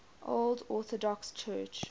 old orthodox church